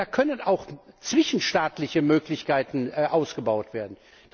Da können auch zwischenstaatliche Möglichkeiten ausgebaut werden.